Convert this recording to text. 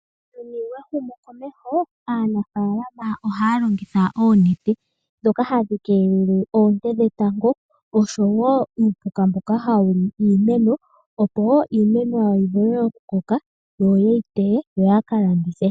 Muuyuni wehumokomeho, aanafaalama ohaya longitha oonete dhoka hadhi keelele oonte dhetango, oshowo uupuka mboka hawu li iimeno, opo iimeno yawo yi vule okukoka opo yateye, yo yaka landithe.